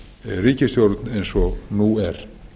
ríkisstjórn eins og nú er